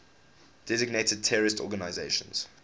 designated terrorist organizations